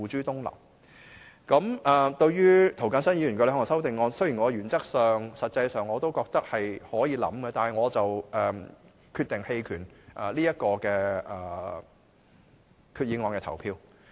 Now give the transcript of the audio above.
對於涂謹申議員的兩項修訂，雖然我原則上、實際上都覺得可以考慮，但我決定就這項決議案投棄權票。